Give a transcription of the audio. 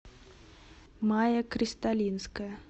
майя кристалинская